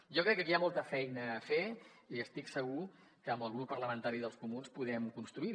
jo crec que aquí hi ha molta feina a fer i estic segur que amb el grup parlamentari dels comuns podem construir